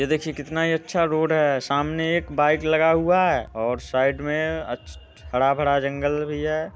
ये देखिए कितना ही अच्छा रोड है सामने एक बाइक लगा हुआ है और साइड में अच् हरा भरा जंगल भी है।